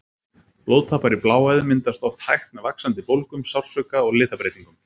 Blóðtappar í bláæðum myndast oft hægt með vaxandi bólgum, sársauka og litabreytingum.